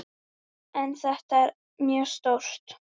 En þetta er mjög stórt.